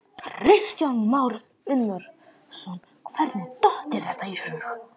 Kristján Már Unnarsson: Hvernig datt þér þetta í hug?